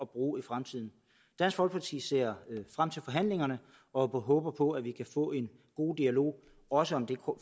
bruge i fremtiden dansk folkeparti ser frem til forhandlingerne og håber på at vi kan få en god dialog også om det